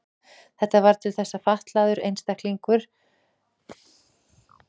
Þetta varð til þess að fatlaðir einstaklingar urðu að félagslegu vandamáli í hugum margra.